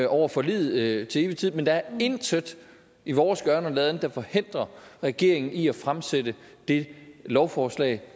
over forliget til evig tid men der er intet i vores gøren og laden der forhindrer regeringen i at fremsætte det lovforslag